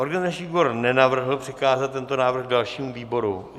Organizační výbor nenavrhl přikázat tento návrh dalšímu výboru.